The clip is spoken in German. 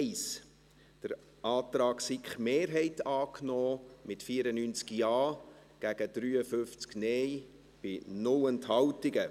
Sie haben zu Artikel 41 Absatz 1 den Antrag SiK-Mehrheit angenommen, mit 94 Ja- gegen 53 Nein-Stimmen bei 0 Enthaltungen.